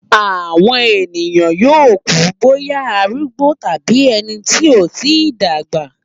Àwọn ènìyàn yóò kú bóyá arúgbó tàbí ẹni tí kò tí dàgbà.